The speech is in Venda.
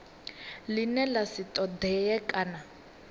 ḽine ḽa si ṱoḓee kana